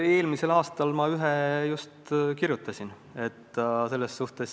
Eelmisel aastal ma ühe just kirjutasin.